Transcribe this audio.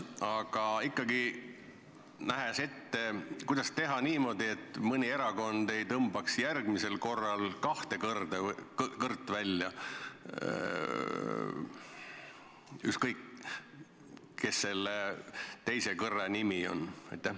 Aga ikkagi, vaadates ette: kuidas teha niimoodi, et mõni erakond ei tõmbaks järgmisel korral kahte kõrt välja, ükskõik, mis selle teise kõrre nimi on?